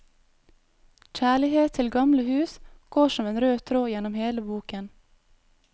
Kjærlighet til gamle hus går som en rød tråd gjennom hele boken.